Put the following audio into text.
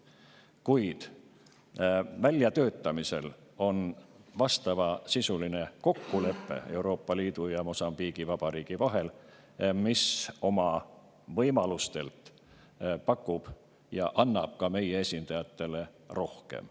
Kuid väljatöötamisel on vastavasisuline kokkulepe Euroopa Liidu ja Mosambiigi Vabariigi vahel, mis oma võimalustelt pakub ka meie esindajatele rohkem.